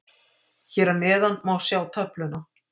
Hér að neðan má sjá töfluna.